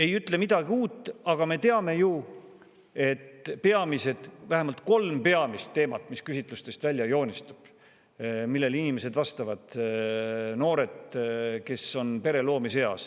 Ei ütle midagi uut, aga me teame ju, et on vähemalt kolm peamist teemat, mis küsitlustest välja joonistuvad, kui inimesed vastavad – noored, kes on pere loomise eas.